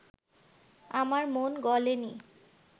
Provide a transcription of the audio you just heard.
আমার মন গলে নি